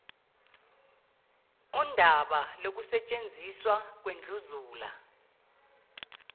undaba lokusetshenziswa kwendlunzula